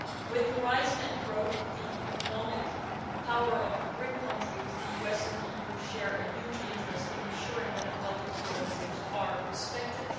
With the rise and growth of the economic power of the BRIC countries, the US and the EU share a huge interest in ensuring that the WTO rules are respected.